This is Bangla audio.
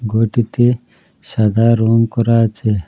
ঘরটিতে সাদা রঙ করা আছে।